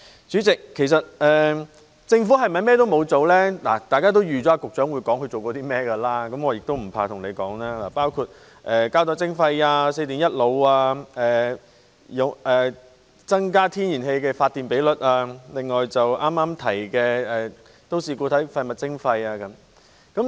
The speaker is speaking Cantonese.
大家也預計局長一定會交代自己做過些甚麼，我也不妨告訴大家，包括膠袋徵費、四電一腦、增加天然氣發電比率，以及剛提到的都市固體廢物徵費等。